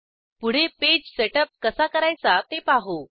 पुढे page setup कसा करायचा ते पाहू